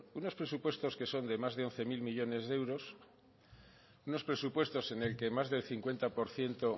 unos presupuestos que son de más de once mil millónes de euros unos presupuestos en el que más del cincuenta por ciento